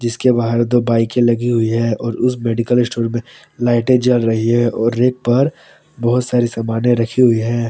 इसके बाहर दो बाईकें लगी हुई हैं और उस मेडिकल स्टोर में लाइटें जल रही हैं और रैक पर बहुत सारी सामानें रखी हुई हैं।